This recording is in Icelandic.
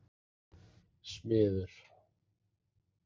Smiður